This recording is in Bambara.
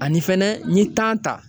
Ani fɛnɛ n ye ta.